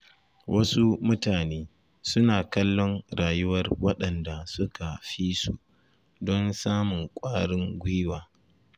Wasu mutane suna kallon rayuwar waɗanda suka fi su don samun ƙwarin gwiwa.